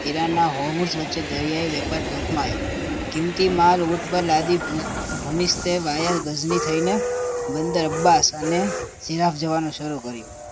વેના વચ્ચે દરીયાઈ વહેવાર જોખમાયું કીમતી માલ ઉપર લાધી ભૂમિ ભૂમિસઠ વાય ગજની થાય ને બંદર અબ્બાસ અને ઇરાક જવાનું શરૂ કર્યો